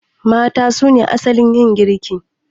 Mata suna asalin yin girki